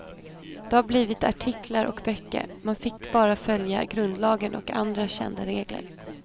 Det har blivit artiklar och böcker, man fick bara följa grundlagen och andra kända regler.